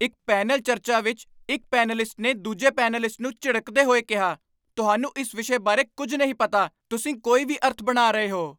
ਇੱਕ ਪੈਨਲ ਚਰਚਾ ਵਿਚ ਇੱਕ ਪੈਨਲਿਸਟ ਨੇ ਦੂਜੇ ਪੈਨਲਿਸਟ ਨੂੰ ਝਿੜਕਦੇ ਹੋਏ ਕਿਹਾ, "ਤੁਹਾਨੂੰ ਇਸ ਵਿਸ਼ੇ ਬਾਰੇ ਕੁੱਝ ਨਹੀਂ ਪਤਾ, ਤੁਸੀਂ ਕੋਈ ਵੀ ਅਰਥ ਬਣਾ ਰਹੇ ਹੋ"।